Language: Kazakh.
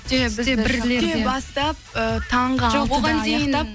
бастап э таңғы алтыда аяқтап